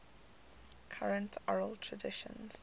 current oral traditions